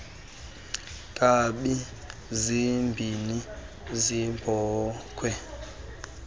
nkabi zimbini zeebhokhwe